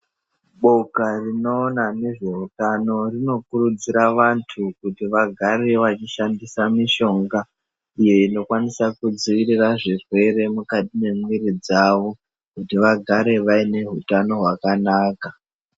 Boka rinoona ngezveutano tinokuridzira vanhu kuti vagare vechishandisa mishonga iyo inokwanisa kudzivirira zvirwere mukati mwemiri dzavo kuti vagare vaine utano hwakanaka.